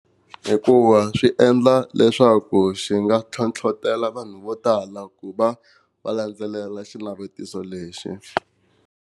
Hikuva swi endla leswaku xi nga ntlhontlhetela vanhu vo tala ku va va landzelela xinavetiso lexi.